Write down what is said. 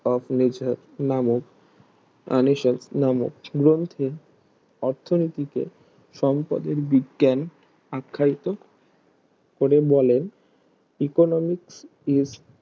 of nature নামক আনিসাল নামক গ্রন্থে অর্থনীতিকে সম্পদের বিজ্ঞেন আখ্যায়িত করে বলেন Economics is